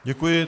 Děkuji.